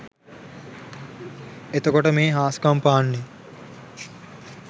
එතකොට මේ හාස්කම් පාන්නේ